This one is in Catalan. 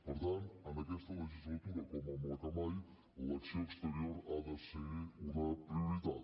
per tant en aquesta legislatura com en la que mai l’acció exterior ha de ser una prioritat